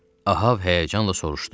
Ahab həyəcanla soruşdu.